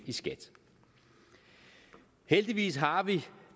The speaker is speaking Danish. i skat heldigvis har vi